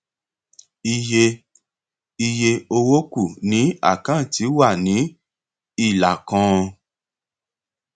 iye iye owó kù ní àkáǹtì wà ní ilà kan